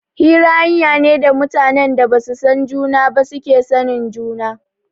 Hira hanya ne da mutanen da basu san juna ba suke sanin juna